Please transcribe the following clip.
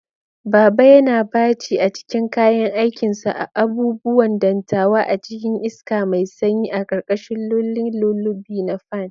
Baba yana baci a cikin kayan aikinsa, abubuwan dantawa a cikin iska mai sanyi, a karkashin lulling lullaby na fan.